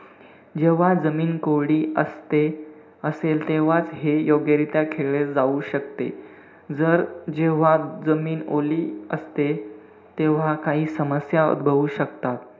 जेव्हा जमीन कोरडी असते~ असेल तेव्हाच हे योग्यरीत्या खेळले जाऊ शकते. जर जेव्हा जमीन ओली असते, तेव्हा काही समस्या उद्भवू शकतात.